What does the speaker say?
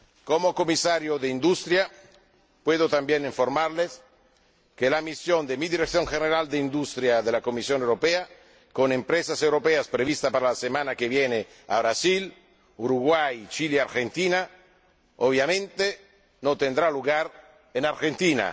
Como Comisario de Industria puedo también informarles de que la misión de mi Dirección General de Industria de la Comisión Europea con empresas europeas prevista para la semana que viene a Brasil, Uruguay, Chile y Argentina, obviamente no tendrá lugar en Argentina.